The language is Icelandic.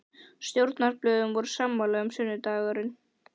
Stjórnarblöðin voru sammála um, að sunnudagurinn